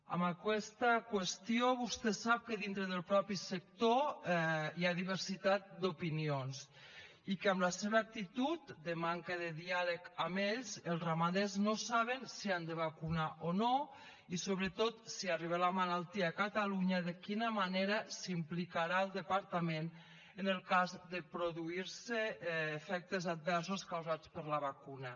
amb aquesta qüestió vostè sap que dintre del mateix sector hi ha diversitat d’opinions i que amb la seva actitud de manca de diàleg amb ells els ramaders no saben si han de vacunar o no i sobretot si arriba la malaltia a catalunya de quina manera s’implicarà el departament en el cas de produir se efectes adversos causats per la vacuna